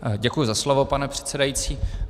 Děkuji za slovo, pane předsedající.